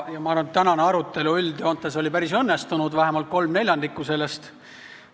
Ma arvan, et tänane arutelu oli üldjoontes päris õnnestunud, vähemalt kolm neljandikku sellest.